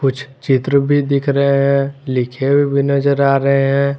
कुछ चित्र भी दिख रहा है लिखे हुए भी नजर आ रहे हैं।